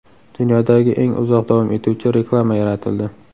Dunyodagi eng uzoq davom etuvchi reklama yaratildi .